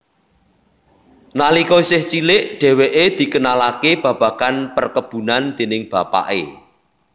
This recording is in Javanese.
Nalika isih cilik dheweke dikenalake babagan perkebunan déning bapake